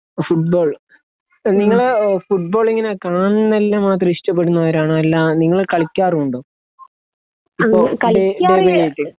football ഏഹ് നിങ്ങൾ ഫുട്ബോളിങ്ങനെ കാണ്ണെല്ലാ മാത്രം ഇഷ്ട്ടപ്പെടുന്നവരാണോ അല്ല നിങ്ങൾ കള്ളിക്കാറുണ്ടോ അപ്പൊ